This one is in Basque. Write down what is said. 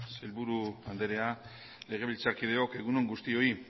sailburu anderea legebiltzarkideok egun on guztioi